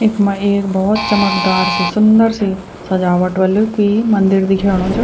इख्मा एक भोत चमकदार सी सुन्दर सी सजावट वल कुई मंदिर दिखेणु च।